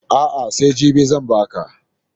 A'a, sai jibi zan ba ka.